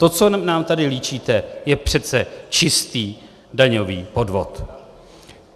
To, co nám tady líčíte, je přece čistý daňový podvod!